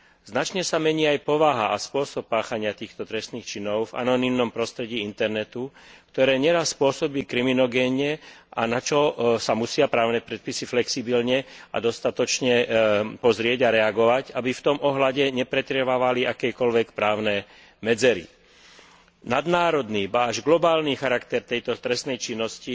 Značne sa mení aj povaha a spôsob páchania týchto trestných činov v anonymnom prostredí internetu, ktoré neraz pôsobí kriminogénne, na čo sa musia právne predpisy dostatočne flexibilne pozrieť a reagovať, aby v tom ohľade nepretrvávali akékoľvek právne medzery. Nadnárodný, ba až globálny charakter tejto trestnej činnosti